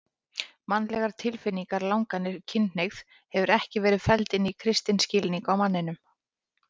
Mannlegar tilfinningar, langanir, kynhneigð hefur ekki verið felld inn í kristinn skilning á manninum.